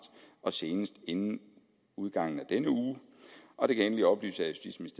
og senest inden udgangen af denne uge og det kan endelig oplyses